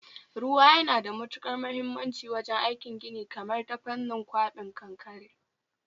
Ruwa yana da matukar muhimmanci wajen aikin gini, kamar ta fannin kwaben kankare